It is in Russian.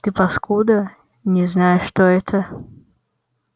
ты паскуда не знаешь что это